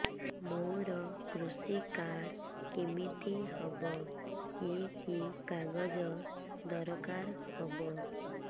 ମୋର କୃଷି କାର୍ଡ କିମିତି ହବ କି କି କାଗଜ ଦରକାର ହବ